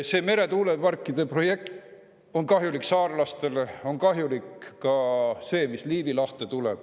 See meretuuleparkide projekt on kahjulik saarlastele, on kahjulik ka see, mis Liivi lahte tuleb.